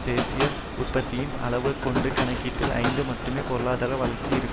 தேசிய உற்பத்தியின் அளவைக்கொண்டு கணக்கிட்டால் ஐந்து மட்டுமே பொருளாதார வளர்ச்சி இருக்கும்